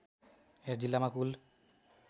यस जिल्लामा कुल